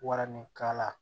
Waranikala